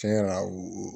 Tiɲɛ yɛrɛ la o